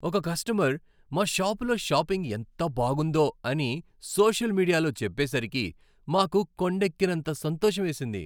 ఒక కస్టమర్ మా షాపులో షాపింగ్ ఎంత బాగుందో అని సోషల్ మీడియాలో చెప్పేసరికి మాకు కొండెక్కినంత సంతోషమేసింది.